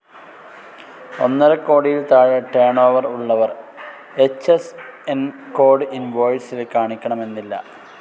ഒന്നരക്കോടിയിൽ താഴെ turn over ഉള്ളവർ H S N code ഇൻവോയിസിൽ കാണിക്കണമെന്നില്ല.